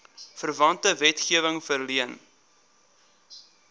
verwante wetgewing verleen